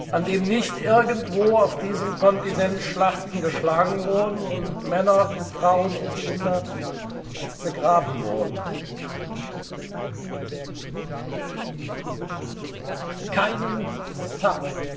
Tag! an dem nicht irgendwo auf diesem Kontinent Schlachten geschlagen wurden und Männer, Frauen und Kinder begraben wurden. Keinen